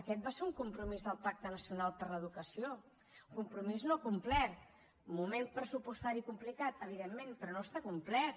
aquest va ser un compromís del pacte nacional per a l’educació compromís no complert moment pressupostari complicat evidentment però no està complert